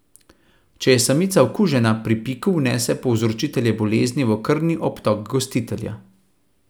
Če je samica okužena, pri piku vnese povzročitelje bolezni v krvni obtok gostitelja.